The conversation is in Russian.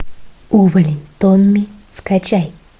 увалень томми скачай